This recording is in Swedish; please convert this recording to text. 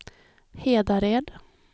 Hedared